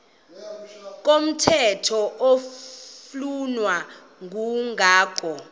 komthetho oflunwa ngumgago